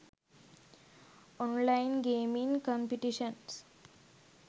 online gaming competitions